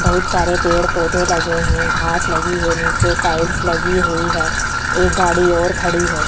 बहुत सारे पेड़-पौधे लगे हैं घास लगी है नीचे टाइल्स लगी हुई है एक गाड़ी और खड़ी है।